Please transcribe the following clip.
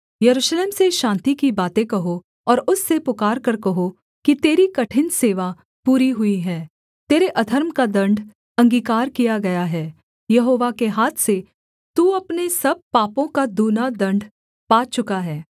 यरूशलेम से शान्ति की बातें कहो और उससे पुकारकर कहो कि तेरी कठिन सेवा पूरी हुई है तेरे अधर्म का दण्ड अंगीकार किया गया है यहोवा के हाथ से तू अपने सब पापों का दूना दण्ड पा चुका है